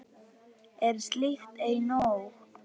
Er slíkt ei nóg?